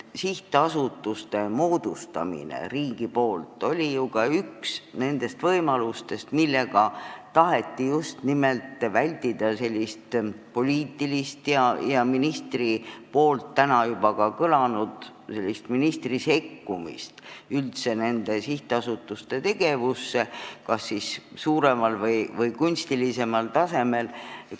Sihtasutuste moodustamine riigi poolt oli ju üks nendest võimalustest, millega taheti just nimelt vältida poliitilist ministri sekkumist üldse nende sihtasutuste tegevusse kas suuremal määral või kunstilise taseme mõttes.